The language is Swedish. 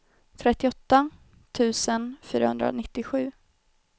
trettioåtta tusen fyrahundranittiosju